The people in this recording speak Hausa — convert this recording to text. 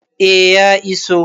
A ya iso